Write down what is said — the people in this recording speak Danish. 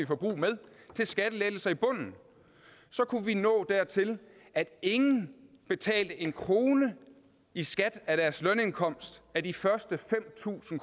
forbrug med til skattelettelser i bunden så kunne vi nå dertil at ingen betalte en krone i skat af deres lønindkomst af de første fem tusind